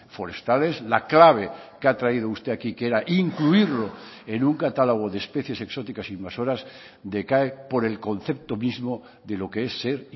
forestales la clave que ha traído usted aquí que era incluirlo en un catálogo de especies exóticas invasoras decae por el concepto mismo de lo que es ser